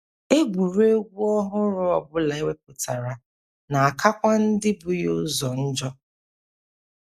Egwuregwu ọhụrụ ọ bụla e wepụtara na - akakwa ndị bu ya ụzọ njọ.